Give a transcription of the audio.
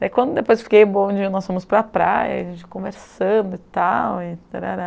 Daí quando depois fiquei bom, um dia nós fomos para a praia, a gente conversando e tal, e tarará...